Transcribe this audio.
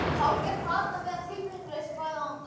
Hálfgert plat að vera tilfinningalaus í báða enda.